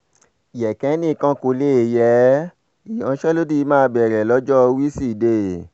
yékénni kan kò lè yé e ìyanṣẹ́lódì máa bẹ̀rẹ̀ lọ́jọ́ wíṣídẹ̀ẹ́